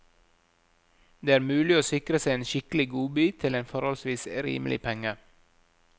Det er mulig å sikre seg en skikkelig godbit til en forholdsvis rimelig penge.